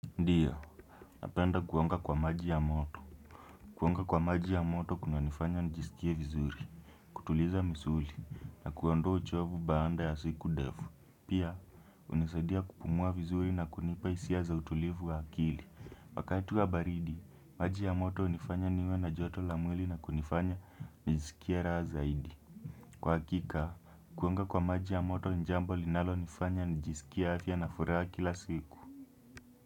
Ndiyo, napenda kuonga kwa maji ya moto. Kuonga kwa maji ya moto kunanifanya nijisikie vizuri. Kutuliza misuli na kuondoa uchovu baada ya siku ndevu. Pia, hunisadia kupumua vizuri na kunipa hisia za utulivu wa akili. Wakati wa baridi, maji ya moto hunifanya niwe na joto la mwili na kunifanya nijisikie raha zaidi. Kwa hakika, kuonga kwa maji ya moto ni jambo linalonifanya nijisikia afya na furaha kila siku.